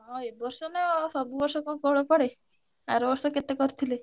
ହଁ ଏବର୍ଷ ନା ଆଉ ସବୁ ବର୍ଷ କଣ କୋହଳ ପଡେ। ଆରବର୍ଷ କେତେ କରିଥିଲେ।